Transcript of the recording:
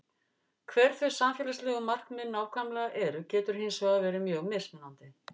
Hver þau samfélagslegu markmið nákvæmlega eru getur hins vegar verið mjög mismunandi.